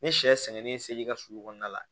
Ni sɛ sɛnɛnen se ka sulu kɔnɔna la